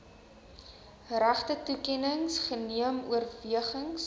regtetoekenning geneem oorwegings